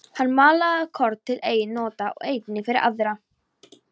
Hann malaði korn til eigin nota og einnig fyrir aðra.